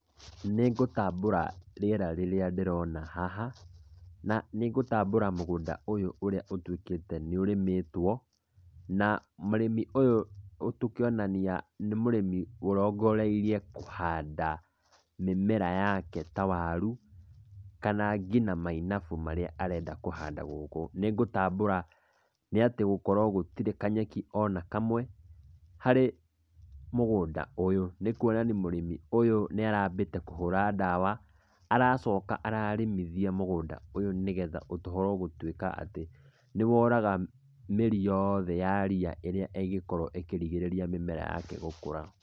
Nĩ ngũtambũra rĩera rĩrĩa ndĩrona haha, na nĩ ngũtambũra mũgũnda ũyũ ũrĩa ũtuĩkĩte nĩ ũrĩmĩtwo, na mũrĩmĩ ũyũ tũkĩonania nĩ mũrĩmĩ ũrongoreirio kũhanda mĩmera yake ta warũ, kana ngina mainabũ marĩa arenda kũhanda gũkũ. Nĩ ngũtambũra nĩ atĩ gũtirĩ kanyeki ona kamwe karĩ mũgũnda ũyũ. Nĩ kuonania mũrĩmĩ ũyũ nĩ arambite kũhũra ndawa, aracoka ararĩmithia mũgũnda ũyũ nĩgetha ũkorwo wa gũtuika nĩ woraga mĩri yothe ya ria ĩngĩkorwo ĩkĩrigĩrĩria mĩmera yake gũkũra.